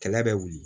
Kɛlɛ bɛ wuli